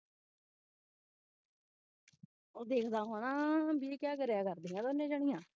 ਉਹ ਦੇਖਦਾ ਹੋਣਾ ਬਈ ਇਹ ਕਿਆ ਕਰੇਆ ਕਰਦਿਆਂ ਦੋਨੋਂ ਜਣੀਆਂ